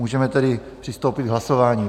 Můžeme tedy přistoupit k hlasování.